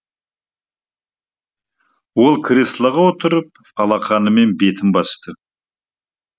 ол креслоға отырып алақанымен бетін басты